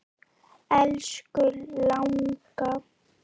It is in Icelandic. Elsku langa.